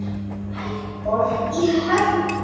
Eldborg í Hörpu.